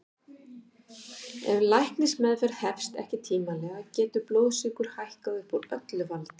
Ef læknismeðferð hefst ekki tímanlega getur blóðsykur hækkað upp úr öllu valdi.